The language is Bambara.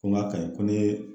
Ko n ka kaɲi ko n'i ye